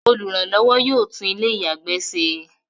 Olùrànlọ́wọ́ yóò tún ilé-ìyàgbẹ́ se.